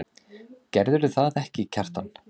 Gerðirðu það ekki, Kjartan?